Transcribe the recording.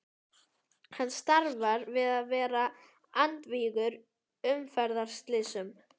Hann starfar við að vera andvígur umferðarslysum.